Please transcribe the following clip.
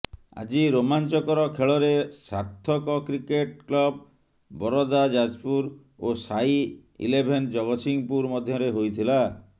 ଆଜି ରୋମାଂଚକର ଖେଳରେ ସାର୍ଥକ କ୍ରିକେଟ କ୍ଲବ ବରଦା ଯାଜପୁର ଓ ସାଇ ଇଲେଭେନ ଜଗତସିଂହପୁର ମଧ୍ୟରେ ହୋଇଥିଲା